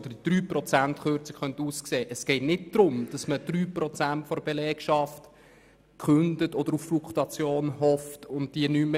Zu Natalie Imboden: Es geht nicht darum, 3 Prozent der Belegschaft zu entlassen oder auf die Fluktuation zu hoffen.